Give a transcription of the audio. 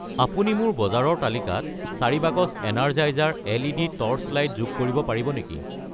আপুনি মোৰ বজাৰৰ তালিকাত 4 বাকচ এনাৰজাইজাৰ এল.ই.ডি. টৰ্চলাইট যোগ কৰিব পাৰিব নেকি?